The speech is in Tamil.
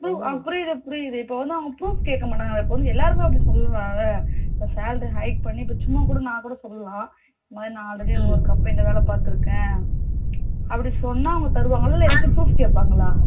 அஹ் புரிது புரிது இப்போ வந்து அவங்க proof கேக்க மாட்டாங்கலா இப்போ வந்து எல்லாரும் அப்படி சொல்லலாம் ல இப்போ salary high பண்ணி இப்போ சும்மா கூட நா கூட சொல்லலாம் இந்த மாதிரி நா already ஒரு company ல வேல பாதுருக்கேன் அப்படி சொன்னா அவங்க தருவங்களா இல்ல எத்தாச்சு proof கேப்பாங்களா